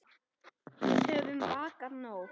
Við höfum vakað nóg.